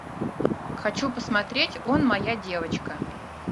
хочу посмотреть он моя девочка